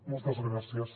moltes gràcies